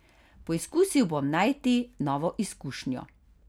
Poizkusil bom najti novo izkušnjo.